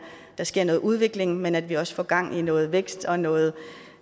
der sker noget udvikling men at vi også får gang i noget vækst og noget